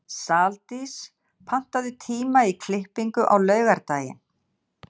Saldís, pantaðu tíma í klippingu á laugardaginn.